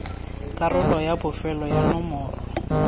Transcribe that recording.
karolo ya bofelo ya nomoro